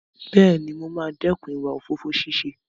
Bẹ́ẹ̀ni, mo máa dẹ́kun ìwà òfófó ṣíṣe.